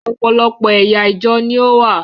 Ọ̀pọ̀lọpọ̀ ẹ̀yà ìjọ ni ó wà.